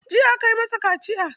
Jiya aka yi masa kaciya.